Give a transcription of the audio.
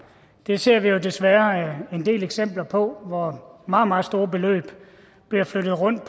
det ser vi jo desværre en del eksempler på hvor meget meget store beløb bliver flyttet rundt